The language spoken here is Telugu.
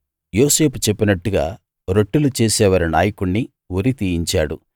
యోసేపు చెప్పినట్టుగా రొట్టెలు చేసేవారి నాయకుణ్ణి ఉరి తీయించాడు